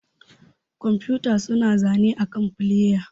Kwamfuta suna zane akan flƴa.